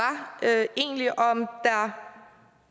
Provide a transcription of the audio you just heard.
egentlig